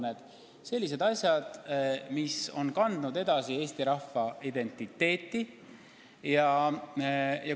Need kõik on sellised asjad, mis on Eesti rahva identiteeti edasi kandnud.